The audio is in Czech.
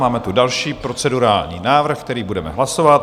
Máme tu další procedurální návrh, který budeme hlasovat.